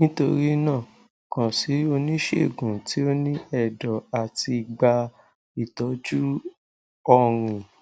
nitorina kan si onisegun ti o ni ẹdọ ati gba itọju ọrin